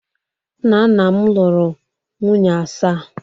nna nna m lụrụ nwunye asaa